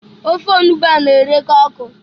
Ofe onugbu a na-ereka ọkụ.